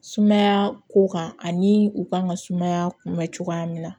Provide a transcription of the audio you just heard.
Sumaya ko kan ani u kan ka sumaya kunbɛn cogoya min na